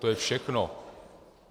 To je všechno.